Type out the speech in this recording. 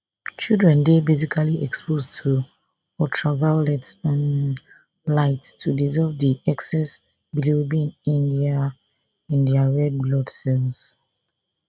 children dey basically exposed to ultraviolet um light to dissolve di excess bilirubin in dia in dia red blood cells